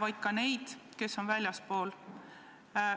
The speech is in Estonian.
vaid ka neid, kes on väljaspool.